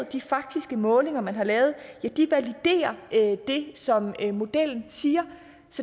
de faktiske målinger man har lavet validerer det som modellen siger